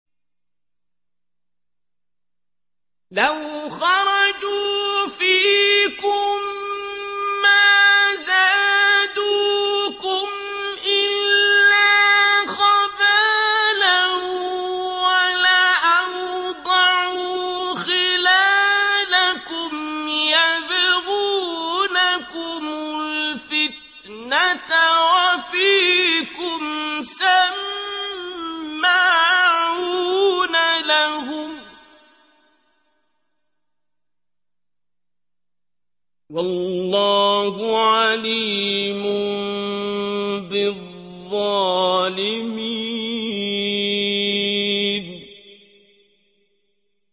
لَوْ خَرَجُوا فِيكُم مَّا زَادُوكُمْ إِلَّا خَبَالًا وَلَأَوْضَعُوا خِلَالَكُمْ يَبْغُونَكُمُ الْفِتْنَةَ وَفِيكُمْ سَمَّاعُونَ لَهُمْ ۗ وَاللَّهُ عَلِيمٌ بِالظَّالِمِينَ